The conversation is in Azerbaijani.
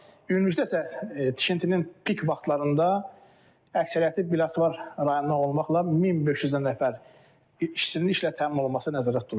Ümumilikdə isə tikintinin pik vaxtlarında əksəriyyəti Biləsuvar rayonundan olmaqla 1500-dən nəfər işçinin işlə təmin olunması nəzərdə tutulub.